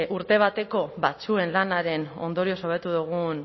urte bateko batzuen lanaren ondorioz hobetu dugun